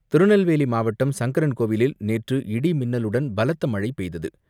திருநெல்வேலி மாவட்டம் சங்கரன் கோவிலில் நேற்று இடி மின்னலுடன் பலத்த மழை பெய்தது.